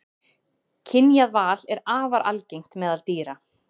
Kynjað val er afar algengt meðal dýra.